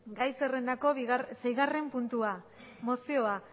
gai zerrendako seigarren puntua mozioa